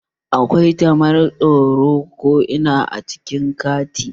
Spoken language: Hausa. Akwai kamaran tsaro ko ina a cikin babban kanti